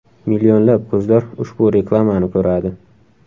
Millionlab ko‘zlar ushbu reklamani ko‘radi!